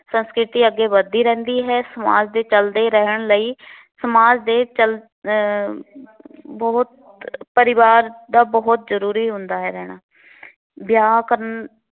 ਸੰਸਕ੍ਰਿਤੀ ਅੱਗੇ ਵੱਧਦੀ ਰਹਿੰਦੀ ਹੈ। ਸਮਾਜ ਦੇ ਚੱਲਦੇ ਰਹਿਣ ਲਈ ਸਮਾਜ ਦੇ ਚੱਲ ਅਹ ਬਹੁਤ ਪਰਿਵਾਰ ਦਾ ਬਹੁਤ ਜ਼ਰੂਰੀ ਹੁੰਦਾ ਰਹਿਣਾ ਹੈ। ਵਿਆਹ ਕਰਨ